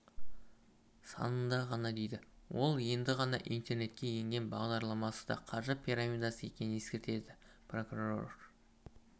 санында ғана дейді ол енді ғана интернетке енген бағдарламасы да қаржы пирамидасы екенін ескертеді прокурор